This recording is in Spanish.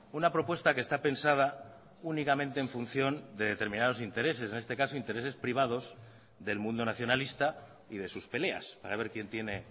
una propuesta que está pensada únicamente en función de determinados intereses en este caso intereses privados del mundo nacionalista y de sus peleas para ver quién tiene